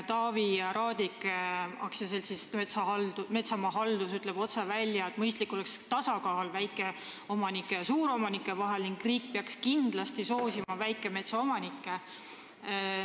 Taavi Raadik Metsamaahalduse Aktsiaseltsist ütleb otse välja, et mõistlik oleks väikeomanike ja suuromanike vaheline tasakaal ning riik peaks kindlasti soosima väikemetsaomanikke.